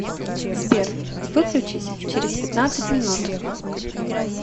сбер выключись через пятнадцать минут